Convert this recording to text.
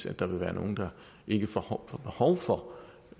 at der vil være nogle der ikke får behov for